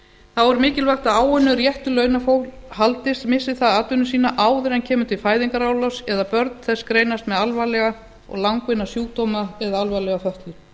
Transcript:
þá er mikilvægt að áunninn réttur launafólks haldist missi það atvinnu sína áður en kemur til fæðingarorlofs eða börn þess greinast með alvarlega og langvinna sjúkdóma eða alvarlega fötlun